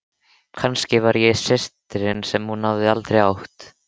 Nei, við ætlum að kaupa bollur sagði Lilla ákveðin.